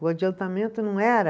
O adiantamento não era